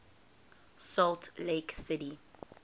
salt lake city